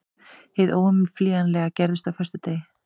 Hið óumflýjanlega gerðist á föstudegi.